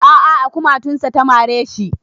A a a kumatunsa ta mare shi.